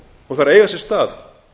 og þær eiga sér stað